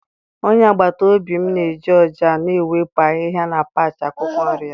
onye agbata obi m na-eji ọja na-ewepụ ahihia na patch akwụkwọ nri ya.